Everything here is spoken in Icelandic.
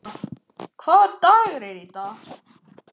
Báðir sögðu fátt það sem eftir var leiðarinnar.